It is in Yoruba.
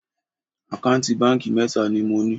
Àkáǹtì báńkì mẹ́ta ni mo ní